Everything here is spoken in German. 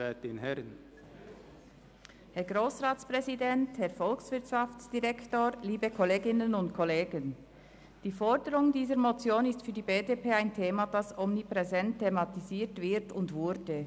Die Forderung dieser Motion ist für die BDP ein Thema, das omnipräsent thematisiert wurde und wird.